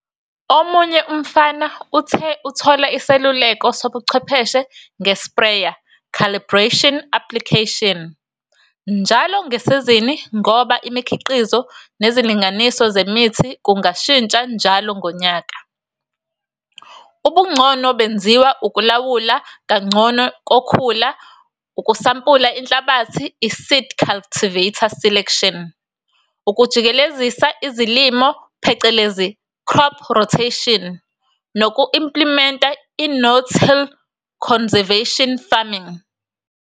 Omunye umfama uthe uthola isiluleko sobuchwepheshe nge-sprayer calibration, application njalo ngesizini ngoba imikhiqizo nezilinganiso zemithi kungashintsha njalo ngonyaka. Ubungcono benziwa ukulawulwa kangcono kokhula, ukusampula inhlabathi, i-seed cultivar selection, ukujikelezisa izilimo phecelezi-crop rotation noku-implimenta i-no-till conservation farming.